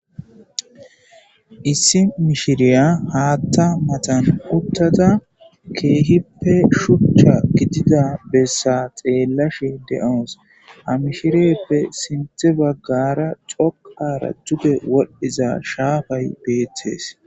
Issi mishiriya haatta matan uttada keehippe shuchcha gidida bessa xeellashe de'ons hamishirieeppe sinthe baggara coqara juge wodhdhiza shaafay beetees.